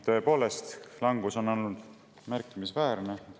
Tõepoolest, langus on olnud märkimisväärne.